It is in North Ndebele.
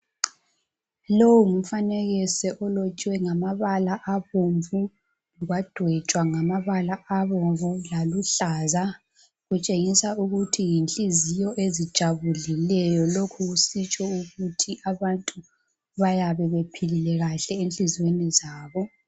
Lowu ngumfanekiso olotshwe ngamabala abomvu kwadwetshwa ngamabala obumvu laluhlaza. Kutshengisa ukuthi yinhliziyo ezijabulileyo lokhu kusitsho ukuthi abantu bayabe bephilile enhliziyweni zabo.